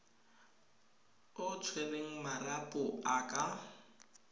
o tshwereng marapo a ka